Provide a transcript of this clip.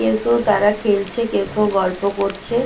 কেউ কেউ তারা খেলছে কেউ কেউ গল্প করছে।